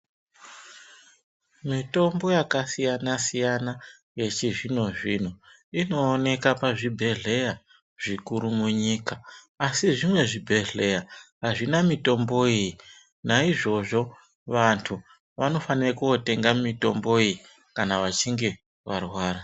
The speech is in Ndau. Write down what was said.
Mitombo yakasiyana siyana inooneka pazvibhedhleya zvikuru munyika asi zvimwe zvibhedhleya azvina mitombo iyi naizvozvo vantu vanofanire kunotenga mitomboyii kana vachinge varwara.